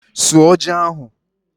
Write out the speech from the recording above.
Suọ ji ahụ!